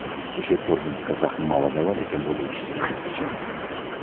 вообще этот орден казахам мало давали а тем более учителям врачам не давали